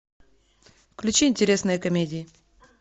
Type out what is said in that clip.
включи интересные комедии